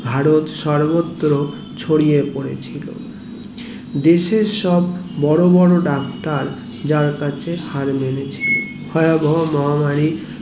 ভারত সর্বত্র ছড়িয়ে পড়েছিল দেশের সব বড়ো বড়ো ডাক্তার যার কাছে হার মেনেছে ভয়াবহ মহামারী